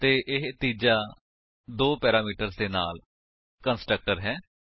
ਅਤੇ ਇਹ ਤੀਜਾ ਦੋ ਪੈਰਾਮੀਟਰਸ ਦੇ ਨਾਲ ਕੰਸਟਰਕਟਰ ਹੈ